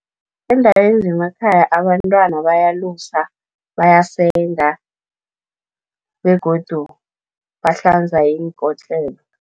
Eendaweni zemakhaya abantwana bayalusa, bayasenga begodu bahlanza iinkotlelo.